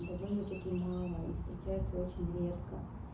довольно-таки мало и встречаются очень редко